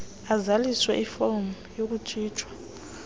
azalise ifom yokutshintshwa